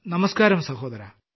നമസ്ക്കാരം സഹോദരാ